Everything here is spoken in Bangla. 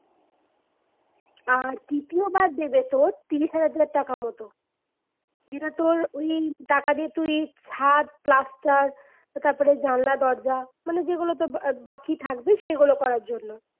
আর তৃতীয়বার দেবে তোর ত্রিশ হাজার ধর টাকার মতো। যেটা তোর ঔ টাকা দিয়ে তুই ছাদ, plaster তো তারপর ধর জানলা দরজা মানে যেগুলো তোর বা বাকি থাকবে সেগুলো করার জন্য